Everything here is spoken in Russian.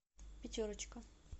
пятерочка